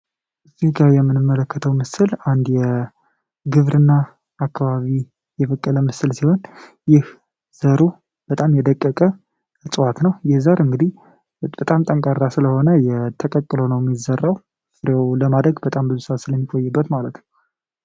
ይህ ከላይ የምንመለከተው ምስል አንድ የግብርና አከባቢ የበቀለ ምስል ሲሆን ዘሩ በጣም የደቀቀ እጽዋት ነው ይህም እንግዲህ በጣም ጠንካራ ስለሆነ ተቀቅሎ ነው ሚዘራው ፍሬው ለማድረግ በጣም ብዙ ስዓት ስለሚቆይበት ማለት ነው።